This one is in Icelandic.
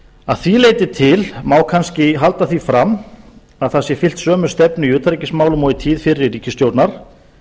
að því leyti til má kannski halda því fram að það sé fylgt sömu stefnu í utanríkismálum og í tíð fyrri ríkisstjórnar